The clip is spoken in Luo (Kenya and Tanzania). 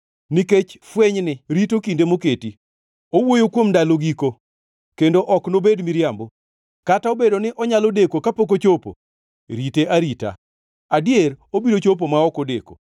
Nikech fwenyni rito kinde moketi; owuoyo kuom ndalo giko, kendo ok nobed miriambo. Kata obedo ni onyalo deko kapok ochopo, rite arita, adier obiro chopo ma ok odeko.